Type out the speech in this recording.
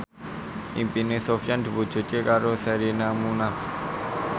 impine Sofyan diwujudke karo Sherina Munaf